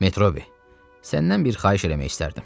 Metrobi, səndən bir xahiş eləmək istərdim.